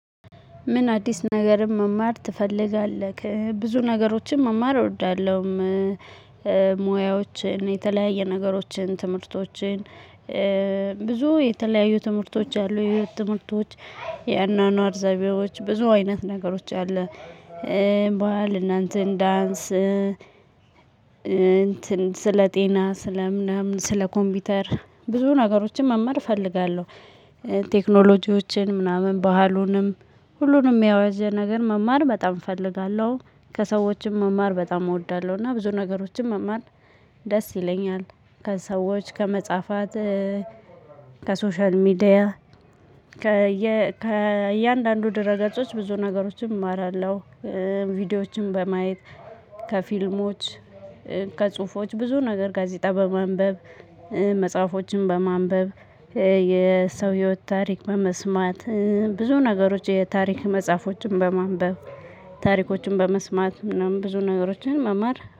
ምን አዲስ ነገርን መማር ትፈልጋለህ? ብዙ ነገሮችን መማር እወዳለሁም። ሙያዎችን የተለያየ ነገሮችን ትምህርቶችን ብዙ የተለያዩ ትምህርቶች አሉ የህይወት ትምህርቶች። የአኗኗር ዘቤዎች ብዙ አይነት ነገሮች አለ። ባል እናንተን ዳንስ እንትን ስለ ጤና ስለ ምናምን ስለ ኮምፒውተር ብዙ ነገሮችን መማር እፈልጋለሁ። ቴክኖሎጂዎችን ምናምን ባህሉንም ሁሉንም ያወዘ ነገር መማር በጣም እፈልጋለሁ። ከሰዎችም መማር በጣም እወዳለሁና ብዙ ነገሮችን መማር ደስ ይለኛል። ከሰዎች ከመጽሐፋት ከሶሻል ሚዲያ ከእያንዳንዱ ደረጃዎች ብዙ ነገሮችን እማራለሁ። ቪዲዮዎችን በማየት ከፊልሞች ከጽሁፎች ብዙ ነገር ጋዜጣ በማንበብ። መጽሐፎችን በማንበብ የሰው ህይወት ታሪክ በመስማት ብዙ ነገሮች የታሪክ መጽሐፎችን በማንበብ። ታሪኮችን በመስማት ምናምን ብዙ ነገሮችን መማር